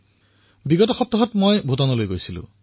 আৰু হয় কি যোৱা সপ্তাহত মই ভূটানলৈ গৈছিলো